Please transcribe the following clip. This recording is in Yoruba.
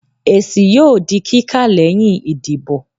èsí yóò dí kika leyin ìdíbò